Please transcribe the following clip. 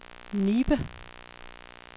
Nibe